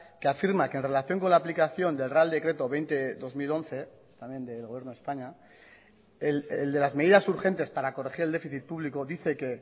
que afirma que en relación con la aplicación del real decreto veinte barra dos mil once también del gobierno de españa el de las medidas urgentes para corregir el déficit público dice que